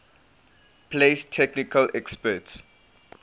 place technical experts